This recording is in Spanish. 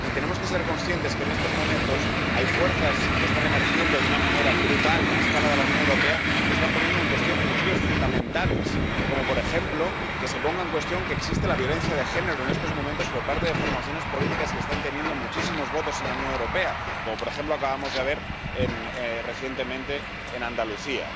Y tenemos que ser conscientes de que, en estos momentos, hay fuerzas que están emergiendo de una manera brutal a escala de la Unión Europea, que se están poniendo en cuestión principios fundamentales, como, por ejemplo, que existe la violencia de género, por parte de formaciones políticas que están teniendo muchísimos votos en la Unión Europea, como, por ejemplo, acabamos de ver recientemente en Andalucía.